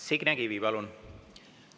Signe Kivi, palun!